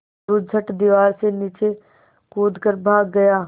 मोरू झट दीवार से नीचे कूद कर भाग गया